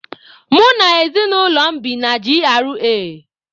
Mụ na ezinaụlọ m bi na G.R.A